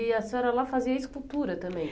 E a senhora lá fazia escultura também?